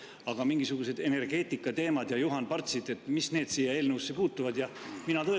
Aga mingisugused energeetikateemad ja Juhan Partsid – mis need sellese eelnõusse puutuvad?